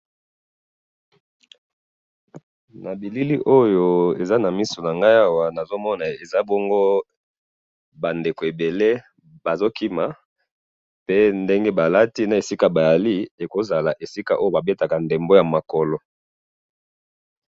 na bilili oyo eza na misu nangai awa, nazomona eza bongo ba ndeko ebele bazokima, pe ndenge balati, na esika bazali, ekozala esika oyo babetaka ndembo ya makolo